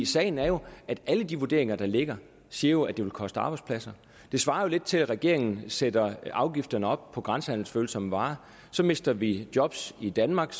sagen er jo at alle de vurderinger der ligger siger at det vil koste arbejdspladser det svarer lidt til at regeringen sætter afgifterne op på grænsehandelsfølsomme varer så mister vi job i danmark